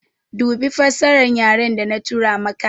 Dubi fassaran yare da na tura maka